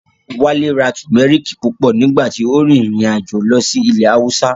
Wálé ra Tùmẹ́rìkì púpọ̀ nígbà tí ó rin ìrìn àjò lọ sí ilẹ̀ Haúsá